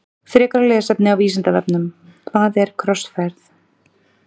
Frekara lesefni á Vísindavefnum Hvað er krossferð?